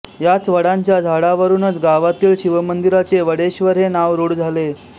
याच वडांच्या झाडावरूनच गावातील शिवमंदिराचे वडेश्वर हे नाव रूढ झाले